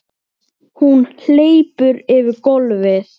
Hún hleypur yfir gólfið.